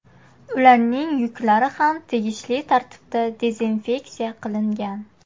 Ularning yuklari ham tegishli tartibda dezinfeksiya qilingan.